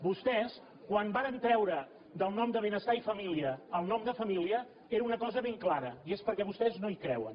vostès quan varen treure del nom de benestar i famí·lia el nom de família era per una cosa ben clara i és perquè vostès no hi creuen